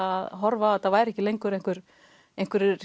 að horfa á að þetta væri ekki lengur einhverjir einhverjir